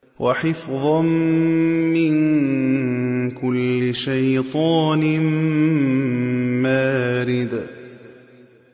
وَحِفْظًا مِّن كُلِّ شَيْطَانٍ مَّارِدٍ